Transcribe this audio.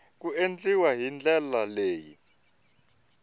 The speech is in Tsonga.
ku endliwa hi ndlela leyi